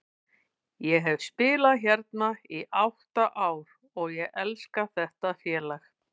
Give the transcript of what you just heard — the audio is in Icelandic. Ég hef spilað hérna í átta ár og ég elska þetta félag.